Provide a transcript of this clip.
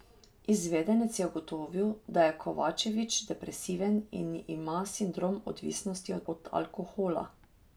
Izvedenec je ugotovil, da je Kovačević depresiven in ima sindrom odvisnosti od alkohola.